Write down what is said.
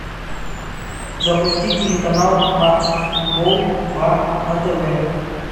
запусти телеканал матч футбол два на тв